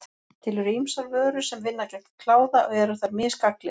Til eru ýmsar vörur sem vinna gegn kláða og eru þær mis gagnlegar.